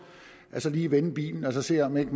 lige vender bilen og ser om man